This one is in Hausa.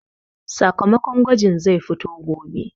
Sakamakon gwajin zai fito gobe